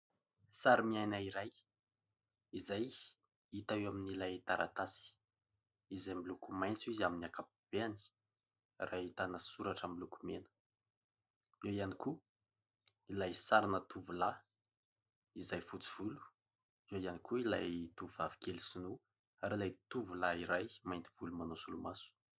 Sary miaina iray, izay hita eo amin'ilay taratasy, izay miloko maitso izy amin'ny ankapobeny, ary ahitana soratra miloko mena, eo ihany koa ilay sarina tovolahy izay fotsy volo, eo ihany koa ilay tovovavy kely sinoa ary ilay tovolahy iray mainty volo manao solomaso.